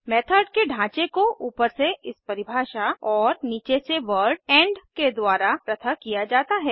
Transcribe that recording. method के ढाँचे को ऊपर से इस परिभाषा और नीचे से वर्ड इंड के द्वारा पृथक किया जाता है